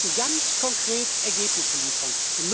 Wir müssen ganz konkret Ergebnisse liefern.